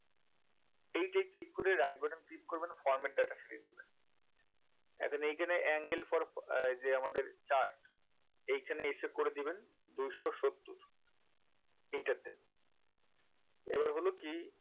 এইটায় click করে right button click করবেন format data series এখন এখানে angle for উম যে আমাদের chart এখানে এসে করে দেবেন দুইশো সত্তর enter দেন এবার হলো কি